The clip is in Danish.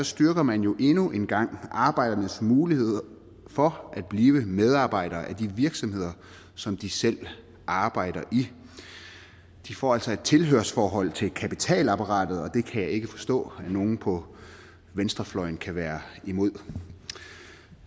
styrker man jo endnu en gang arbejdernes muligheder for at blive medejere af de virksomheder som de selv arbejder i de får altså et tilhørsforhold til kapitalapparatet og det kan jeg ikke forstå at nogen på venstrefløjen kan være imod